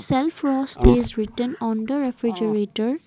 celfrost is written on the refrigerator.